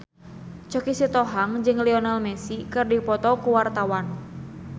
Choky Sitohang jeung Lionel Messi keur dipoto ku wartawan